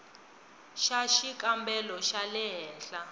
xa xikambelo xa le henhla